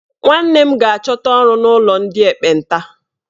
Nwanne m ga-achọta ọrụ n'ụlọ ndị ekpenta